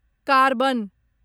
carbon